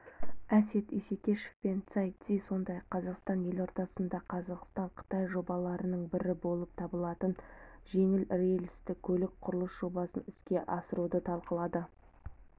әсет исекешев пен цай ци сондай-ақ қазақстан елордасында қазақстан-қытай жобаларының бірі болып табылатын жеңіл рельстікөлік құрылысы жобасын іске асыруды талқылады